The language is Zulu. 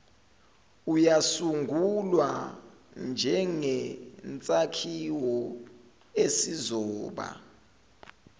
uyasungulwa njengsakhiwo esizoba